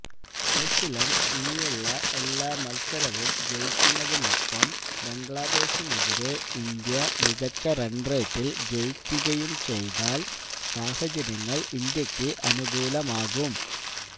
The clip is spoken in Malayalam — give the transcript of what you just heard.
ന്യൂസിലന്ഡ് ഇനിയുള്ള എല്ലാ മത്സരവും ജയിക്കുന്നതിനൊപ്പം ബംഗ്ലാദേശിനെതിരെ ഇന്ത്യ മികച്ച റണ് റേറ്റില് ജയിക്കുകയും ചെയ്താല് സാഹചര്യങ്ങള് ഇന്ത്യക്ക് അനുകൂലമാകും